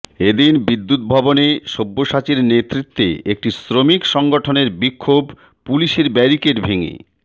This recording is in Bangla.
এ দিন বিদ্যুৎ ভবনে সব্যসাচীর নেতৃত্বে একটি শ্রমিক সংগঠনের বিক্ষোভ পুলিশের ব্যারিকেড ভেঙে